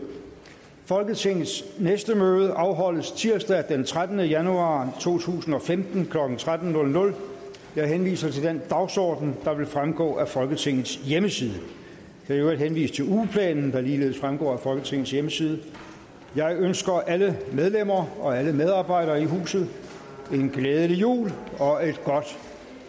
folketingets næste møde afholdes tirsdag den trettende januar to tusind og femten klokken tretten jeg henviser til den dagsorden der vil fremgå af folketingets hjemmeside jeg kan i øvrigt henvise til ugeplanen der ligeledes fremgår af folketingets hjemmeside jeg ønsker alle medlemmer og alle medarbejdere i huset en glædelig jul og et godt